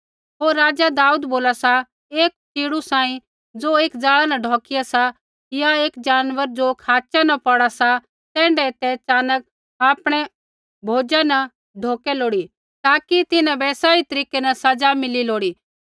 होर राजा दाऊद बोला सा एक पक्षी सांही ज़ो एक जाला न ढौकिया सा या एक जानवर ज़ो खाच़ा न पौड़ा सा तैण्ढै ही तै च़ानक आपणै भोजा न ढौकै लोड़ी ताकि तिन्हां बै सही तरीकै न सज़ा मिली लोड़ी